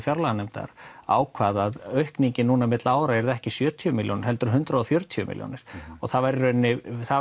fjárlaganefndar ákvað að aukningin núna milli ára yrði ekki sjötíu milljónir heldur hundrað og fjörutíu milljónir og það var í rauninni það